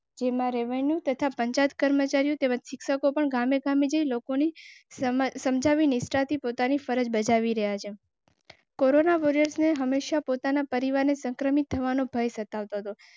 જેમાં રેવન્યુ તથા પંચાયત કર્મચારીઓ શિક્ષકો પણ ગામે ગામે જઈ લોકોને સમજાવી નિષ્ઠાથી પોતાની ફરજ બજાવી રહેલા કોરોના વોરિયર્સને હમેશા પોતાના પરિવારને સંક્રમિત થવાનો ભય સતાવ.